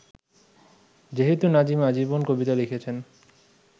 যেহেতু নাজিম আজীবন কবিতা লিখেছেন